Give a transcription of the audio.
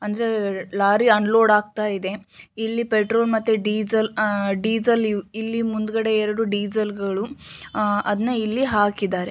ಅಂದ್ರೆ lorry unload ಆಗ್ತಾಯಿದೆ. ಇಲ್ಲಿ ಪೆಟ್ರೋಲ್ ಮತ್ತೆ ಡೀಸೆಲ್ ಅಹ್ ಡೀಸೆಲ್ ಇಲ್ಲಿ ಮುಂದ್ಗಡೆ ಎರಡು ಡೀಸೆಲ್ಗಳು ಅಹ್ ಅದ್ನ ಇಲ್ಲಿ ಹಾಕಿದ್ದಾರೆ.